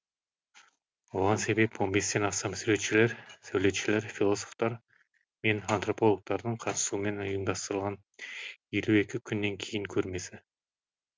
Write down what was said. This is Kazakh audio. оған себеп он бестен астам суретшілер сәулетшілер философтар мен антропологтардың қатысуымен ұйымдастырылған елу екі күннен кейін көрмесі